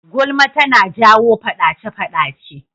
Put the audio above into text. Gulma tana jawo faɗace-faɗace.